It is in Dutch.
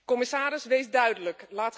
Commissaris, wees duidelijk.